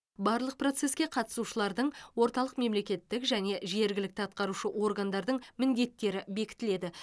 барлық процеске қатысушылардың орталық мемлекеттік және жергілікті атқарушы органдардың міндеттері бекітіледі